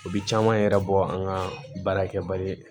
U bi caman yɛrɛ bɔ an ka baara kɛbaliya